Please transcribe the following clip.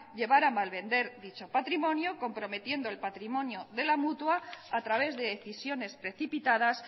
llevar a malvender dicho patrimonio comprometiendo el patrimonio de la mutua a través de decisiones precipitadas